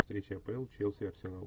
встреча апл челси арсенал